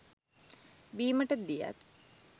බීමට දියත්,